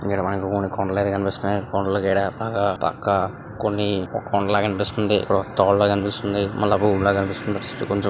ఈడ మనకు కొన్ని కొండలైతే కనిపిస్తున్నాయి. కొండ బాగా పక్కా కొన్ని కొండల కనిపిస్తుంది. తోవ్వ అనిపిస్తుంది.